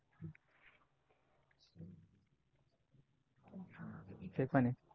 ते पण आहे